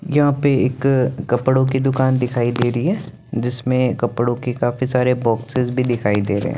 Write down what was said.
यहाँ पे एक कपड़ो की दूकान दिखाई दे रही है जिसमे कपड़ो की काफी साड़ी बॉक्सेस भी दिखाई दे रहे है।